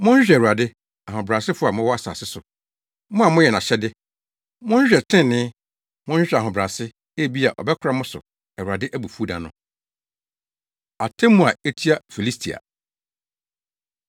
Monhwehwɛ Awurade, ahobrɛasefo a mowɔ asase so, mo a moyɛ nʼahyɛde. Monhwehwɛ trenee, monhwehwɛ ahobrɛase; ebia ɔbɛkora mo so Awurade abufuw da no. Atemmu A Etia Filistia